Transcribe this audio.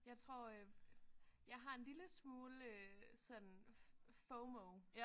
Jeg tror øh jeg har en lille smule øh sådan FOMO